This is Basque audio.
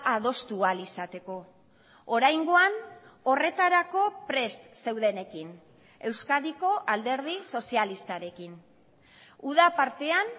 adostu ahal izateko oraingoan horretarako prest zeudenekin euskadiko alderdi sozialistarekin uda partean